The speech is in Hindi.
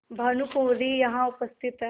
भानुकुँवरि यहाँ उपस्थित हैं